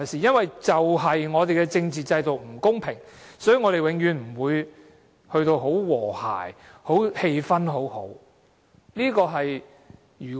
正正因為我們的政治制度不公平，我們才永遠不會很和諧，氣氛不會很良好。